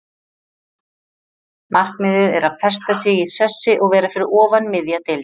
Markmiðið er að festa sig í sessi og vera fyrir ofan miðja deild.